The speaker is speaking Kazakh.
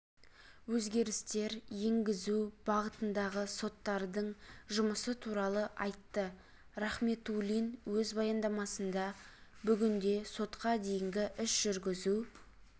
өзгерістер енгізу бағытындағы соттардың жұмысы туралы айтты рахметулин өз баяндамасында бүгінде сотқа дейінгі іс жүргізу